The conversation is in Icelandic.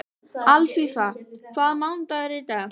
Alfífa, hvaða mánaðardagur er í dag?